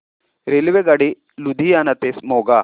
रेल्वेगाडी लुधियाना ते मोगा